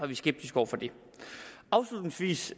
vi skeptisk over for det afslutningsvis